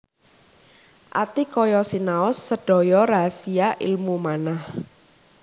Atikaya sinaos sedaya rahasia ilmu manah